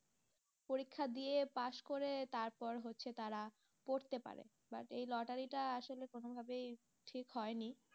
পরীক্ষা দিয়ে পাশ করে তারপর হচ্ছে তারা পড়তে পারে, এই লটারীটা আসলে কোনোভাবেই ঠিক হয়নি।